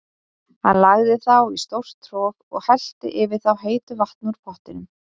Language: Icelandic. Hann lagði þá í stórt trog og hellti yfir þá heitu vatni úr pottinum.